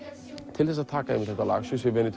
til að taka einmitt þetta lag